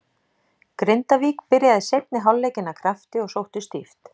Grindavík byrjaði seinni hálfleikinn af krafti og sóttu stíft.